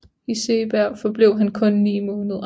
I Segeberg forblev han kun 9 måneder